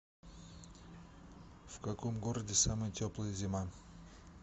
в каком городе самая теплая зима